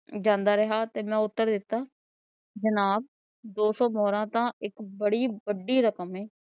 ਜਾਂਦਾ ਰਿਹਾ ਤੇ ਮੈ ਉੱਤਰ ਦਿੱਤਾ। ਜਨਾਬ ਦੋ ਸੋ ਮੋਹਰਾ ਤਾਂ ਇੱਕ ਬੜੀ ਅੱਧੀ ਰਕਮ ਏ,